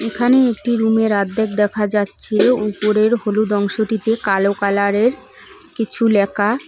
এখানে একটি রুমের অর্ধেক দেখা যাচ্ছে উপরের হলুদ অংশটিতে কালো কালারের কিছু লেকা ।